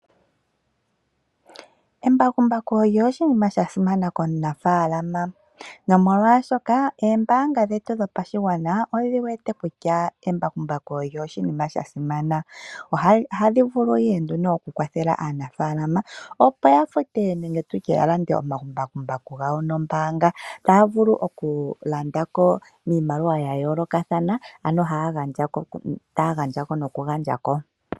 Embakumbaku olyo oshinima sha simana komunafaalama. Nomolwaashoka oombaanga dhetu dhopashigwana odhi wete kutya embakumbaku olyo oshinima sha simana. Ohadhi vulu ihe nduno okukwathela aanafaalama opo ya fute nenge tutye yalande omambakumbaku gawo nombaanga taya vulu okulandako niimaliwa yayoolokathana nenge taya gandjako.